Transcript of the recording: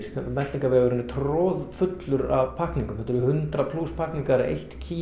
meltingarvegurinn er troðfullur af pakkningum þetta eru hundrað plús pakkningar eitt kíló